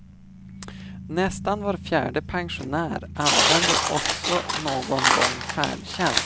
Nästan var fjärde pensionär använder också någon gång färdtjänst.